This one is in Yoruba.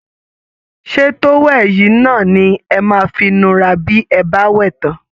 Ṣé towel yìí náà ni ẹ máa fi nura bí ẹ bá wẹ̀ tán?